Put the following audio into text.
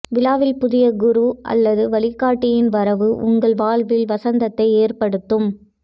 வாழ்வில் புதிய குரு அல்லது வழிகாட்டியின் வரவு உங்கள் வாழ்வில் வசந்தத்தை ஏற்படுத்தும்